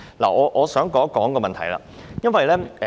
我想談論一個問題。